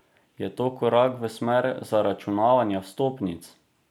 Je to korak v smer zaračunavanja vstopnic?